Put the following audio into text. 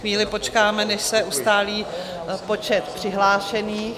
Chvíli počkáme, než se ustálí počet přihlášených.